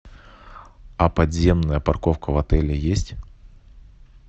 а подземная парковка в отеле есть